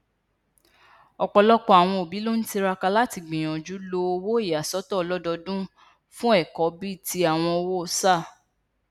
ọpọlọpọ àwọn òbí ló n tiraka láti gbìyànjú lo owó ìyàsọtọ ọlọdọọdún fún ẹkọ bí i ti àwọn owó sáà